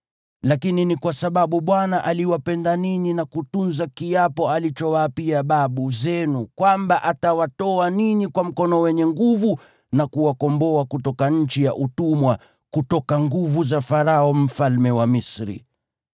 Lakini ni kwa sababu Bwana aliwapenda ninyi na kutunza kiapo alichowaapia babu zenu kwamba atawatoa ninyi kwa mkono wenye nguvu na kuwakomboa kutoka nchi ya utumwa, kutoka nguvu za Farao mfalme wa Misri.